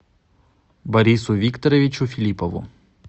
борису викторовичу филиппову